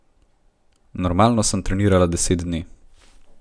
Normalno sem trenirala deset dni.